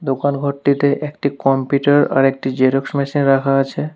দোকানঘরটিতে একটি কম্পিউটার আরেকটি xerox machine রাখা আছে।